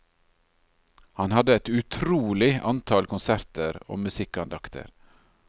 Han hadde et utrolig antall konserter og musikkandakter.